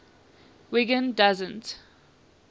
wiggin doesn t